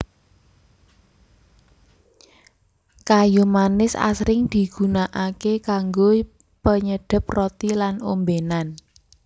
Kayu manis asring digunakaké kanggo penyedhep roti lan ombénan